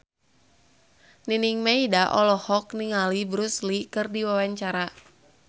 Nining Meida olohok ningali Bruce Lee keur diwawancara